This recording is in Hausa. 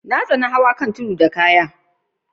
Na kiyyaye tugen kayan a'cikin keken Keke zuwa saman tudun.